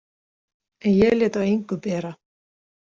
En ég lét á engu bera.